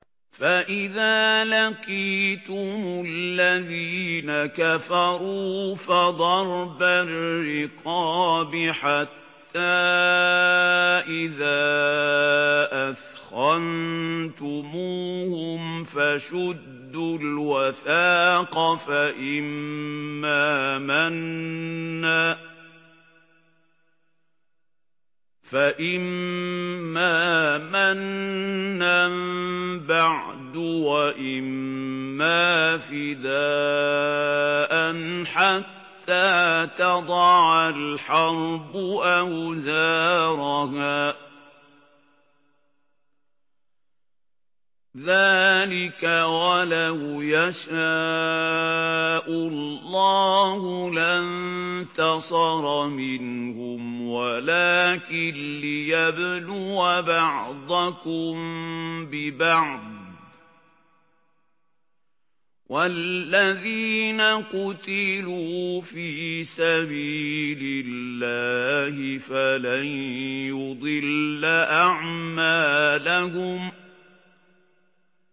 فَإِذَا لَقِيتُمُ الَّذِينَ كَفَرُوا فَضَرْبَ الرِّقَابِ حَتَّىٰ إِذَا أَثْخَنتُمُوهُمْ فَشُدُّوا الْوَثَاقَ فَإِمَّا مَنًّا بَعْدُ وَإِمَّا فِدَاءً حَتَّىٰ تَضَعَ الْحَرْبُ أَوْزَارَهَا ۚ ذَٰلِكَ وَلَوْ يَشَاءُ اللَّهُ لَانتَصَرَ مِنْهُمْ وَلَٰكِن لِّيَبْلُوَ بَعْضَكُم بِبَعْضٍ ۗ وَالَّذِينَ قُتِلُوا فِي سَبِيلِ اللَّهِ فَلَن يُضِلَّ أَعْمَالَهُمْ